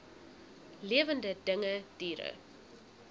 lewende dinge diere